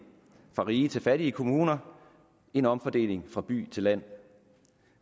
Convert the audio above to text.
fra rige til fattige kommuner en omfordeling fra by til land